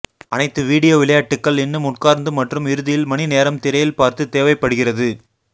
அனைத்து வீடியோ விளையாட்டுகள் இன்னும் உட்கார்ந்து மற்றும் இறுதியில் மணி நேரம் திரையில் பார்த்து தேவைப்படுகிறது